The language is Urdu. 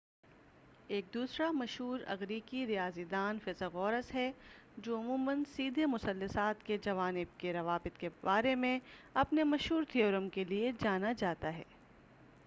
ایک دوسرا مشہور إغریقی ریاضی داں فیثاغورس ہے جو عموماً سیدھے مثلثات کے جوانب کے روابط کے بارے میں اپنے مشہور تھیورم کے لئے جانا جاتا ہے۔